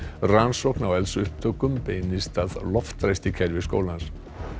rannsókn á eldsupptökum beinist að loftræstikerfi skólans